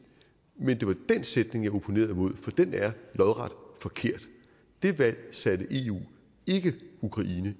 men det var den sætning jeg opponerede imod for den er lodret forkert det valg satte eu ikke ukraine